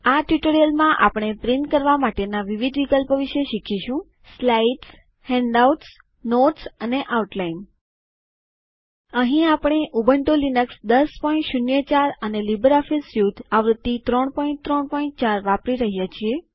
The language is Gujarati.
આ ટ્યુટોરીયલમાં આપણે છાપવાના વિવિધ વિકલ્પો વિશે શીખીશું slides handouts notes and outline અહીં આપણે ઉબન્ટુ લિનક્સ ૧૦૦૪ અને લીબરઓફીસ સ્યુટ આવૃત્તિ ૩૩૪ વાપરી રહ્યા છીએ